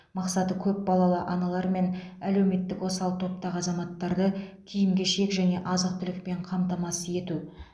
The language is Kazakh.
мақсаты көпбалалы аналар мен әлеуметтік осал топтағы азаматтарды киім кешек және азық түлікпен қамтамасыз ету